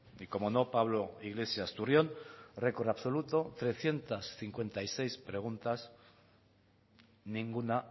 y cómo no pablo iglesias turrión record absoluto trescientos cincuenta y seis preguntas ninguna